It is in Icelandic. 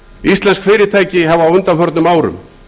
íslensk fyrirtæki hafa á undanförnum árum